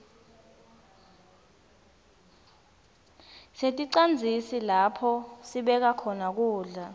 sineticandzisa lapho sibeka khona kudla